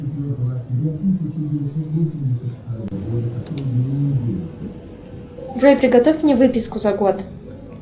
джой приготовь мне выписку за год